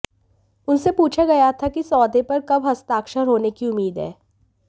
उनसे पूछा गया था कि सौदे पर कब हस्ताक्षर होने की उम्मीद है